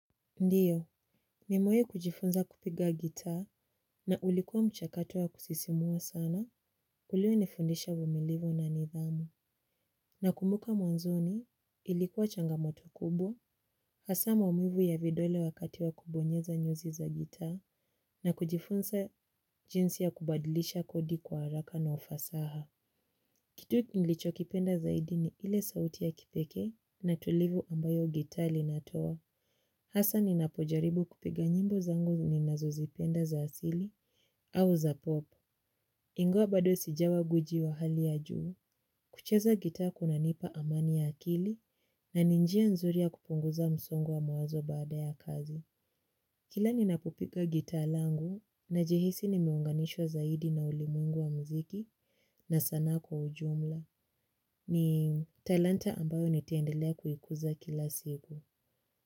Ndiyo, mimewai kujifunza kupiga gita na ulikuwa mchakato wa kusisimua sana kulio nifundisha uvumilivu na nidhamu. Nakumbuka mwanzoni ilikuwa changamoto kubwa, hasa maumivu ya vidole wakati wa kubonyeza nyuzi za gita na kujifunza jinsi ya kubadilisha kodi kwa haraka na ufasaha. Kitu nilicho kipenda zaidi ni ile sauti ya kipeke na tulivu ambayo gita linatoa. Hasa ninapojaribu kupiga nyimbo zangu ninazo zipenda za asili au za pop. Ingawa bado sijawa guiji wa hali ya juu. Kucheza gita kuna nipa amani ya akili na ninjia nzuri ya kupunguza msongo wa mawazo baada ya kazi. Kila ninapopiga gita langu na jihisi nimeunganishwa zaidi na ulimuengu wa mziki na sana kwa ujumla. Ni talanta ambayo nitaendelea kuikuza kila siku.